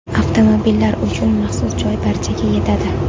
Avtomobillar uchun maxsus joy barchaga yetadi!